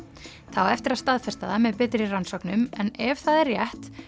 það á eftir að staðfesta það með betri rannsóknum en ef það er rétt